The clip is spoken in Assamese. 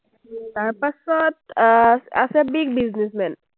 তাৰপাছত আছে big businessman ।